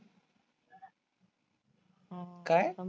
काय?